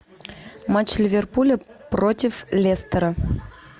матч ливерпуля против лестера